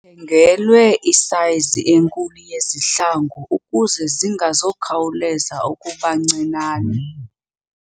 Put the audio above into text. Uthengelwe isayizi enkulu yezihlangu ukuze zingakhawulezi ukuba ncinane.